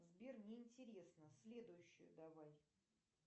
сбер неинтересно следующую давай